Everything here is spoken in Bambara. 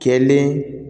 Kɛlen